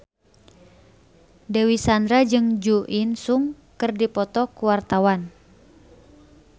Dewi Sandra jeung Jo In Sung keur dipoto ku wartawan